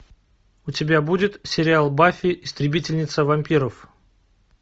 у тебя будет сериал баффи истребительница вампиров